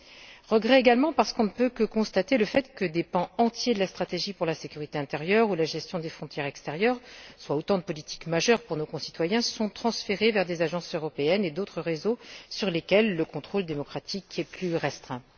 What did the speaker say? J'emploie le terme regrets également parce qu'on ne peut que constater que des pans entiers de la stratégie pour la sécurité intérieure ou la gestion des frontières extérieures, soit autant de politiques majeures pour nos concitoyens, sont de fait transférés vers des agences européennes et d'autres réseaux, sur lesquels le contrôle démocratique est plus restreint.